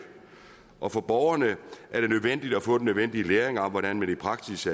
og for borgerne er det nødvendigt at få den nødvendige læring om hvordan man i praksis